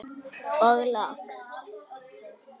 Og loks.